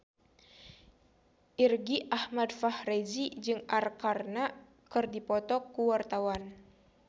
Irgi Ahmad Fahrezi jeung Arkarna keur dipoto ku wartawan